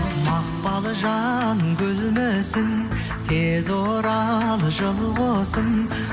мақпалжан гүлмісің тез орал жыл құсым